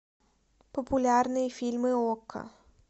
популярные фильмы окко